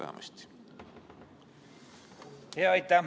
Aitäh!